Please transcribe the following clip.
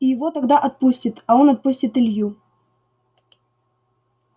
и его тогда отпустит а он отпустит илью